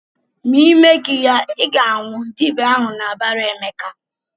"Ma Ị meghị ya, Ị ga-anwụ!" Dibịa ahụ na-abara Emeka.